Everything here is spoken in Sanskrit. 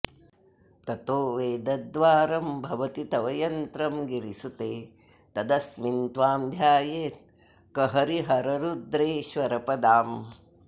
ततो वेदद्वारं भवति तव यन्त्रं गिरिसुते तदस्मिन् त्वां ध्यायेत् कहरिहररुद्रेश्वरपदाम्